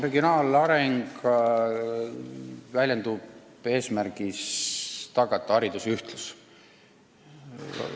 Regionaalareng peab väljenduma hariduse ühtluses.